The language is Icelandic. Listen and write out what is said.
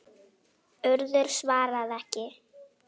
Urður svarað ekki.